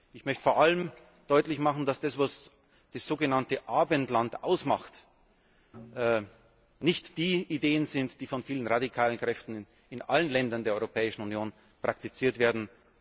Ich möchte vor allem deutlich machen, dass das, was das sogenannte Abendland ausmacht, nicht die Ideen sind, die von vielen radikalen Kräften in allen Ländern der Europäischen Union praktiziert werden.